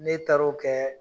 Ne taar'o kɛɛ